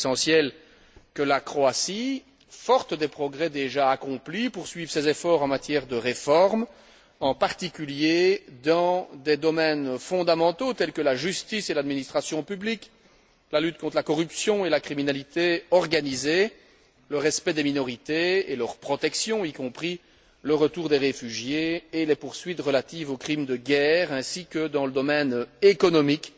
Il est essentiel que la Croatie, forte des progrès déjà accomplis, poursuive ses efforts en matière de réformes, en particulier dans des domaines fondamentaux tels que la justice et l'administration publique, la lutte contre la corruption et la criminalité organisée, le respect des minorités et leur protection, y compris le retour des réfugiés et les poursuites relatives aux crimes de guerre ainsi que dans le domaine économique,